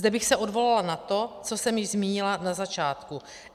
Zde bych se odvolala na to, co jsem již zmínila na začátku.